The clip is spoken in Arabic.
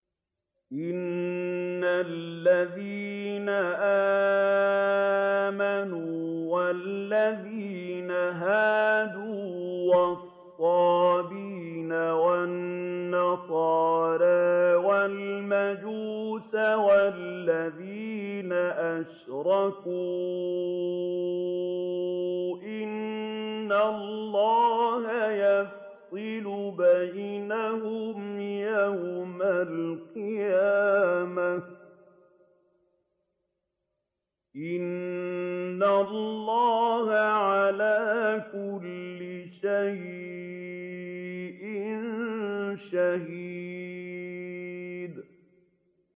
إِنَّ الَّذِينَ آمَنُوا وَالَّذِينَ هَادُوا وَالصَّابِئِينَ وَالنَّصَارَىٰ وَالْمَجُوسَ وَالَّذِينَ أَشْرَكُوا إِنَّ اللَّهَ يَفْصِلُ بَيْنَهُمْ يَوْمَ الْقِيَامَةِ ۚ إِنَّ اللَّهَ عَلَىٰ كُلِّ شَيْءٍ شَهِيدٌ